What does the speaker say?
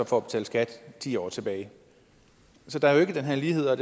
for at betale skat ti år tilbage så der er jo ikke den her lighed og